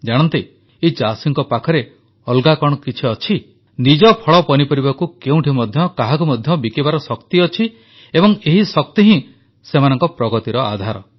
ଜାଣନ୍ତି ଏହି ଚାଷୀଙ୍କ ପାଖରେ ଅଲଗା କଣ ଅଛି ନିଜ ଫଳପନିପରିବାକୁ କେଉଁଠି ମଧ୍ୟ କାହାକୁ ମଧ୍ୟ ବିକିବାର ଶକ୍ତି ଅଛି ଏବଂ ଏହି ଶକ୍ତି ହିଁ ସେମାନଙ୍କ ପ୍ରଗତିର ଆଧାର